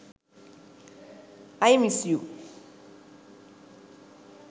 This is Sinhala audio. i miss you